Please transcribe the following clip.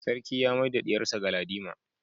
Sarki ya mai da diyarsa Galadima